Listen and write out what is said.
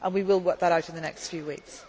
and effectively. We will work that out in